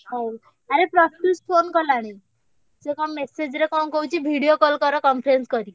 ହଉ ଆରେ ପ୍ରତ୍ୟୁଷ phone କଲାଣି ସିଏ କଣ message କଣ କହୁଛି video call କର conference କରିକି।